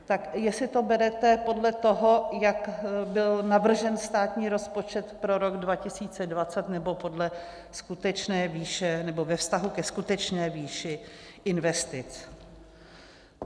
Tak jestli to berete podle toho, jak byl navržen státní rozpočet pro rok 2020, nebo podle skutečné výše, nebo ve vztahu ke skutečné výši investic.